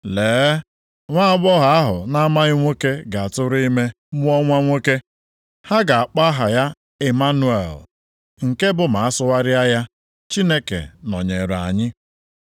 “Lee, nwaagbọghọ ahụ na-amaghị nwoke ga-atụrụ ime, mụọ nwa nwoke. Ha ga-akpọ aha ya Ịmanụel” + 1:23 \+xt Aịz 7:14\+xt* (nke bụ ma asụgharịa ya, “Chineke nọnyeere anyị”).